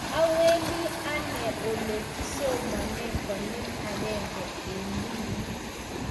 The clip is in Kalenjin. Awendi anne ole kisomane konyil agenge eng wikit